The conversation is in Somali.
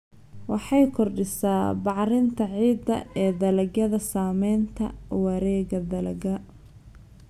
Waxay kordhisaa bacrinta ciidda ee dalagyada sameeya wareegga dalagga.